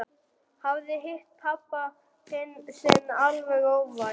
Hafði hitt pabba sinn alveg óvænt.